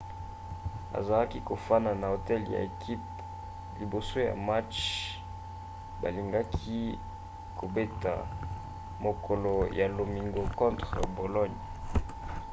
azalaki kofanda na hotel ya ekipe liboso ya match balingaki kobeta mokolo ya lomingo contre bologne